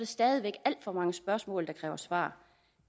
stadig væk alt for mange spørgsmål der kræver svar